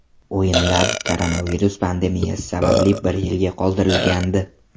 O‘yinlar koronavirus pandemiyasi sababli bir yilga qoldirilgandi.